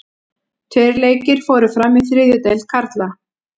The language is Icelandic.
Tveir leikir fóru fram í þriðju deild karla.